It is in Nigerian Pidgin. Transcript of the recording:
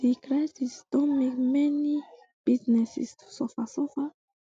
di crisis don make many businesses to suffer suffer